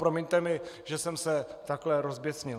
Promiňte mi, že jsem se takhle rozběsnil.